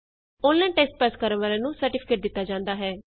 online test pass ਕਰਨ ਵਾਲਿਆਂ ਨੂੰ ਸਰਟੀਫਿਕੇਟ ਦਿਤਾ ਜਾਂਦਾ ਹੈ